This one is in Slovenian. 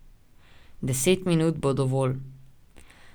Deset minut bo dovolj.